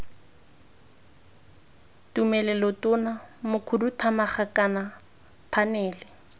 tumelelo tona mokhuduthamaga kana phanele